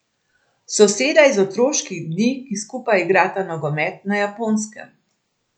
Soseda iz otroških dni, ki skupaj igrata nogomet na Japonskem.